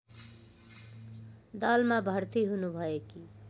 दलमा भर्ति हुनुभएकी